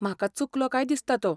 म्हाका चुकलो काय दिसता तो.